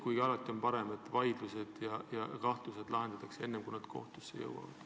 Alati on muidugi parem, kui need vaidlused lahendatakse ja kahtlused kaovad enne, kui nad kohtusse jõuavad.